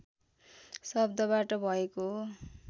शब्दबाट भएको हो